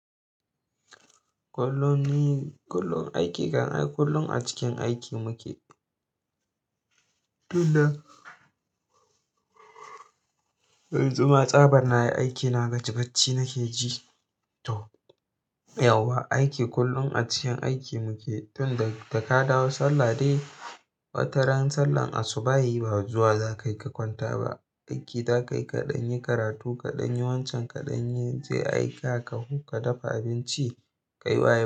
Kullum ni-- kullum aiki kam ai kullum a cikin aiki muke. Tun da, yanzu ma tsaban nayi aiki na gaji, bacci nake ji. To yawwa aiki, kullum a cikin aiki muke. Tunda da ka dawo Sallah dai, wata ran Sallah asubahi ba zuwa za ka yi ka kwanta ba. Aiki za ka yi, kaɗan yi karatu, kaɗan yi wancan, kaɗan yi je aika ka-- ka dafa abinci, ka yi wa yara.